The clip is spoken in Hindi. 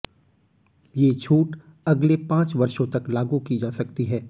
ये छूट अगले पांच वर्षों तक लागू की जा सकती है